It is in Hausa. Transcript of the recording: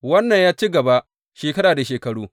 Wannan ya ci gaba shekara da shekaru.